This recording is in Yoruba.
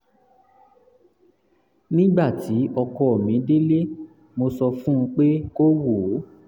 nígbà tí ọkọ mi délé mo sọ fún un pé kó wò ó